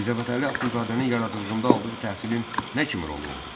Mirzə Fətəli Axundzadənin yaradıcılığında aldığı təhsilin nə kimi rolu oldu?